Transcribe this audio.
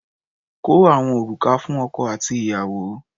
Kó àwọn òrùka fún ọkọ àti ìyàwó.